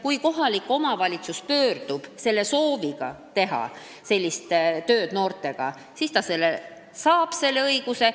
Kui kohalik omavalitsus pöördub sooviga teha noortega sellist tööd, siis ta saab selle õiguse.